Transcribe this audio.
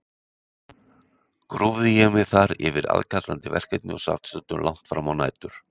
Grúfði ég mig þar yfir aðkallandi verkefni og sat stundum langt frammá nætur.